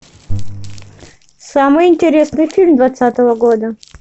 самый интересный фильм двадцатого года